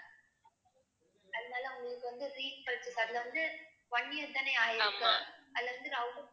அதனால உங்களுக்கு வந்து அதுல வந்து one year தான ஆயிருக்கு அதுல இருந்து router